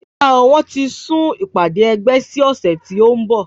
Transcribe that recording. Rárá o wọn ti sún ìpàdé ẹgbẹ́ sí ọ̀sẹ̀ tí o nbọ